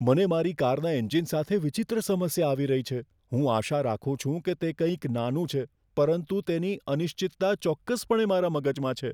મને મારી કારના એન્જિન સાથે વિચિત્ર સમસ્યા આવી રહી છે. હું આશા રાખું છું કે તે કંઈક નાનું છે, પરંતુ તેની અનિશ્ચિતતા ચોક્કસપણે મારા મગજમાં છે.